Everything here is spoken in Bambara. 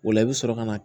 O la i bɛ sɔrɔ ka na